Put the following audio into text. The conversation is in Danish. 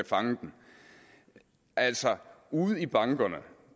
fange den altså ude i bankerne